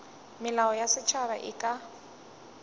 melao ya setšhaba e ka